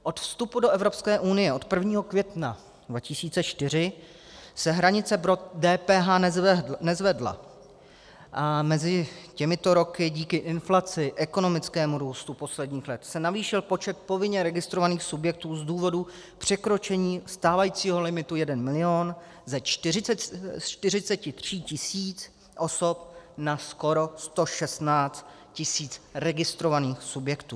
Od vstupu do Evropské unie od 1. května 2004 se hranice pro DPH nezvedla a mezi těmito roky, díky inflaci, ekonomickému růstu posledních let, se navýšil počet povinně registrovaných subjektů z důvodu překročení stávajícího limitu 1 milion ze 43 tisíc osob na skoro 116 tisíc registrovaných subjektů.